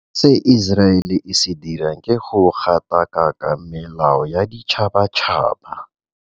Se Iseraele e se dirang ke go gatakaka melao ya boditšhabatšhaba.